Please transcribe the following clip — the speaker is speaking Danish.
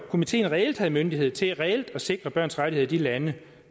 komiteen reelt havde myndighed til reelt at sikre børns rettigheder i de lande